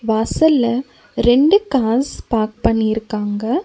வாசல்ல ரெண்டு cars park பண்ணிருக்காங்க.